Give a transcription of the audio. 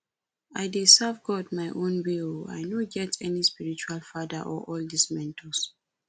i dey serve god my own way oo i no get any spiritual father or all dis mentors